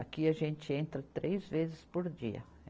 Aqui a gente entra três vezes por dia.